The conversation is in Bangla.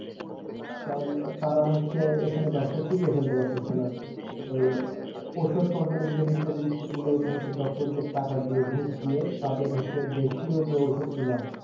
কারণ তারা হচ্ছে এখানে ব্যবসা টিকায়া ফেলতে পারতেছে না ওই ঔষধ company যে representative গুলো ওই গুলো হচ্ছে doctor দেড় টাকা দিয়ে ঘুস দিয়ে তাদের হচ্ছে দেশও ওষুধ গুলা